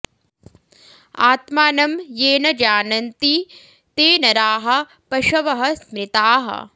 आत्मानं ये न जानन्ति ते नराः पशवः स्मृताः